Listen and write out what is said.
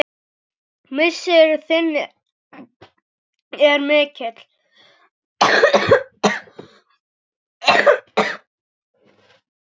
Missir þinn er mikill.